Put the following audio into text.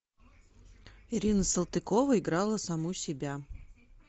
ирина салтыкова играла саму себя